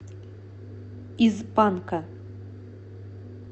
из панка